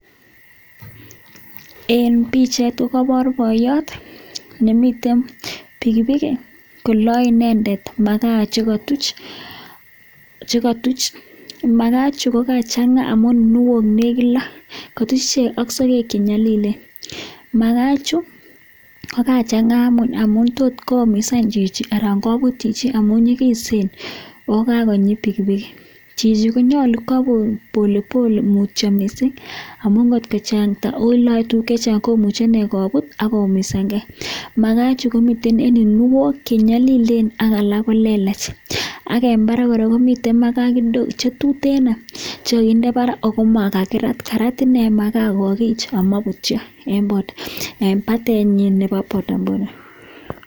En pichait ko kobor boyot nemiten pikipiki koloe inendet makaa chekotuch, makaa ichuu ko kachanga amun kinuok nekit loo, kotuch ichek ak sokek chenyolilen, makaa chuu ko kachang'a amun tot koyumisan chichi anan kobut chichi amun nyikisen oo kakonyi pikipiki, chichi konyolu kwoo pole pole mutyo mising amun kot ko chakta oo loee tukuk chechang komuche inee kobut ak koumisang'e, makaa chuu komiten en kinuok chenyolilen ak alak ko lelach ak en barak kora komiten makaa kidogo chetuteno chekokinde barak ak ko makirat, karat inee makaa kokich amobutyo en batenyin nebo bodaboda.